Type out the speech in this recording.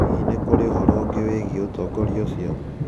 Hihi nĩ kũrĩ ũhoro ũngĩ wĩgiĩ ũtongoria ũcio?